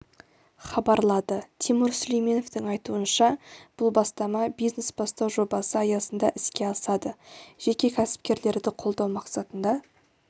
хабарлады тимур сүлейменовтің айтуынша бұл бастама бизнес-бастау жобасы аясында іске асады жеке кәсіпкерлерді қолдау мақсатында